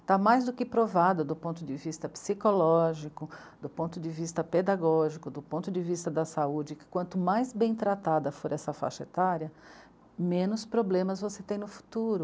Está mais do que provado do ponto de vista psicológico, do ponto de vista pedagógico, do ponto de vista da saúde, que quanto mais bem tratada for essa faixa etária, menos problemas você tem no futuro.